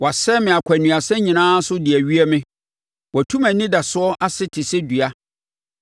Wasɛe me akwannuasa nyinaa so de awie me; watu mʼanidasoɔ ase te sɛ dua.